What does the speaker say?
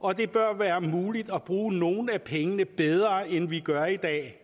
og det bør være muligt at bruge nogle af pengene bedre end vi gør i dag